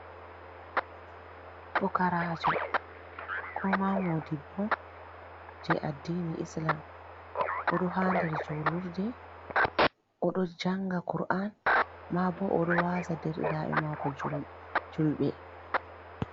Pukaraajo, ko ma modibbo jei addini Islama. O ɗo ha nder julurde. O ɗo janga Qur'an, maabo o ɗo waaza derdiraaɓe maako julɓe.